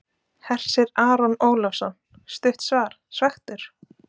Hersir Aron Ólafsson: Stutt svar, svekktur?